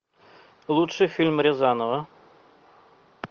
лучший фильм рязанова